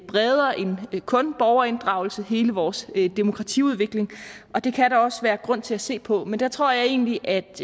bredere end kun borgerinddragelse altså hele vores demokratiudvikling og det kan der også være grund til at se på men der tror jeg egentlig at